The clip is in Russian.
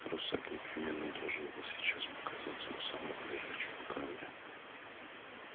русак непременно должен был сейчас показаться у самого лежачего камня